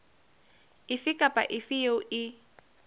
efe kapa efe eo e